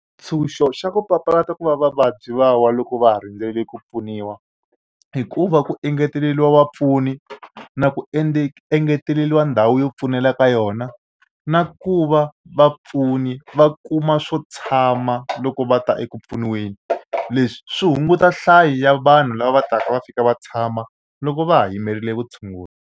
Ntshuxo xa ku papalata ku va va vabyi va wa loko va ha rindzele ku pfuniwa i ku va ku engeteleriwa vapfuni na ku engeteleriwa ndhawu yo pfunela ka yona na ku va vapfuni va kuma swo tshama loko va ta eku pfuniweni leswi swi hunguta nhlayo ya vanhu lava va taka va fika va tshama loko va ha yimerile vutshunguri.